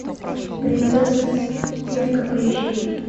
принцесса цирка поищи